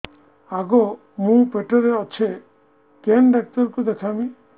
ଆଗୋ ମୁଁ ପେଟରେ ଅଛେ କେନ୍ ଡାକ୍ତର କୁ ଦେଖାମି